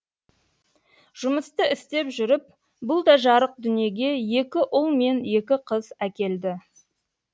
жұмысты істеп жүріп бұл да жарық дүниеге екі ұл мен екі қыз әкелді